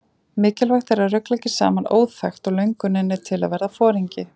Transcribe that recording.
Mikilvægt er að rugla ekki saman óþekkt og lönguninni til að verða foringi.